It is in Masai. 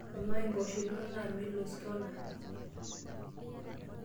amaa impoosho inonok naa Milosz Kona